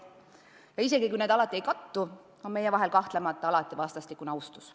Ja isegi kui need alati ei kattu, on meie vahel kahtlemata alati vastastikune austus.